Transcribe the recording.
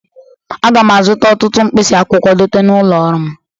Aga m azụta ụtụtụ nkpịsị akwụkwọ dote n'ụlọ ọrụ m.